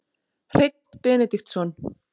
Hreinn Benediktsson